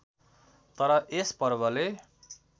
तर यस पर्वले